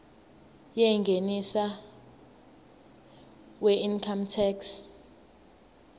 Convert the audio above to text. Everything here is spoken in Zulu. yengeniso weincome tax